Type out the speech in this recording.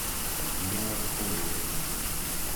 меланхолия